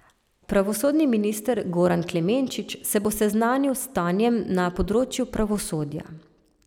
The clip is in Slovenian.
Pravosodni minister Goran Klemenčič se bo seznanil s stanjem na področju pravosodja.